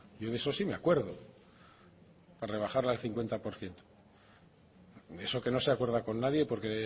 yo de eso sí me acuerdo para rebajarlo al cincuenta por ciento eso que no se acuerda con nadie porque